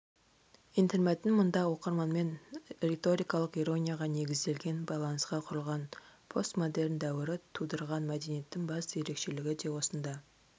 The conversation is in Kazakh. интермәтін мұнда оқырманмен риторикалық иронияға негізделген байланысқа құрылған постмодерн дәуірі тудырған мәдениеттің басты ерекшелгі де осында